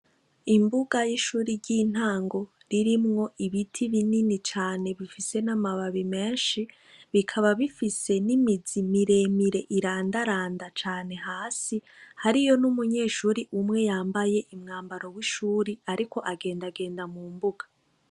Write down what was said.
Imbuga yishure ryintango ririmwo ibiti binini cane birimwo namababi menshi bikaba bifise nimizi miremire irandaranda cane hasi hariyo numunyeshure umwe yambaye umwambaro wishure ariko agendagenda mumbuga